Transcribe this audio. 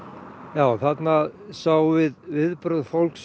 já þarna sáum við viðbrögð fólks